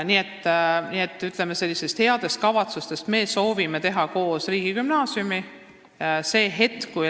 Nii et headest kavatsustest rääkides, me soovime teha koos riigigümnaasiumi.